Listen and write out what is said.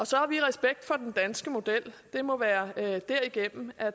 så vi har respekt for den danske model det må være være derigennem